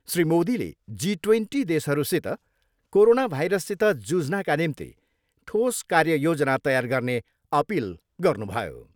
श्री मोदीले G twenty देशहरूसित corona भाइरससित जुझ्नाका निम्ति ठोस कार्य योजना तयार गर्ने अपिल गर्नुभयो।